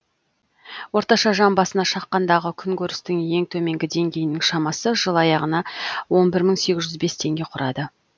орташа жан басына шаққандағы күн көрістің ең төменгі деңгейінің шамасы жыл аяғына он бір мың сегіз жүз бес теңге құрады